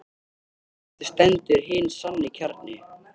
Og eftir stendur hinn sanni kjarni.